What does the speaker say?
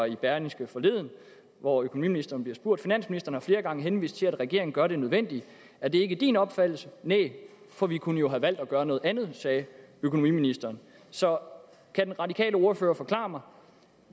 i berlingske forleden hvor økonomiministeren bliver spurgt finansministeren har flere gange henvist til at regeringen gør det nødvendige er det ikke din opfattelse næh for vi kunne jo have valgt at gøre noget andet sagde økonomiministeren så kan den radikale ordfører forklare mig